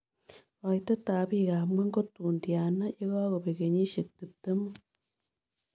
Koitetap piikap ngw'ony ko tun tyana ye kagobek kenyisyek tiptemu